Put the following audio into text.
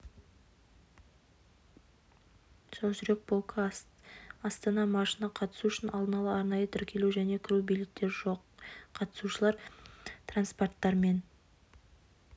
жаужүрек полкі астана маршына қатысу үшін алдын ала арнайы тіркелу және кіру билеттері жоқ қатысушылар транспаранттармен